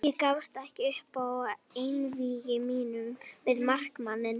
Ég gafst ekki upp í einvígi mínu við markmanninn.